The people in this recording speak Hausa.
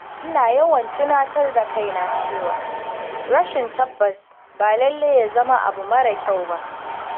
Ina yawan tunatar da kaina cewa rashin tabbas ba lallai ya zama abu marar kyau ba.